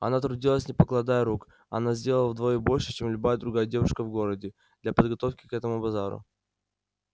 она трудилась не покладая рук она сделала вдвое больше чем любая другая девушка в городе для подготовки к этому базару